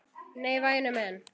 Nei, væni minn.